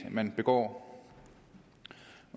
man begår